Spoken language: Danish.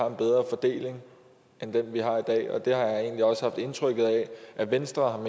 en bedre fordeling end den vi har i dag og det har jeg egentlig også haft indtrykket af at venstre